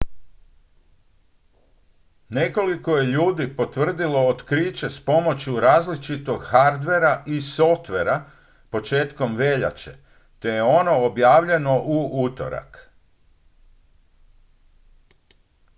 nekoliko je ljudi potvrdilo otkriće s pomoću različitog hardvera i softvera početkom veljače te je ono objavljeno u utorak